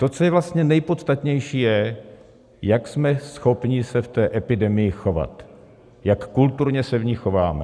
To, co je vlastně nejpodstatnější, je, jak jsme schopni se v té epidemii chovat, jak kulturně se v ní chováme.